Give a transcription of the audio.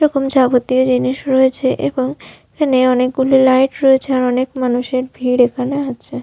এরকম যাবতীয় জিনিস রয়েছে এবং এখানে অনেকগুলি লাইট রয়েছে আর অনেক মানুষের ভিড় এখানে আছে ।